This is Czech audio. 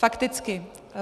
Fakticky.